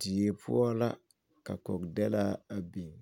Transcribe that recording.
Deɛ poɔ la ka kɔgdelaa a bing